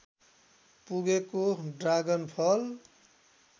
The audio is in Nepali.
पुगेको ड्रागनफल